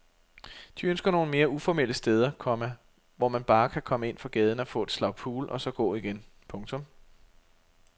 De ønsker nogle mere uformelle steder, komma hvor man bare kan komme ind fra gaden og få et slag pool og så gå igen. punktum